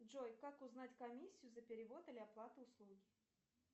джой как узнать комиссию за перевод или оплату услуги